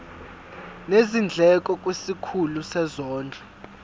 nezindleko kwisikhulu sezondlo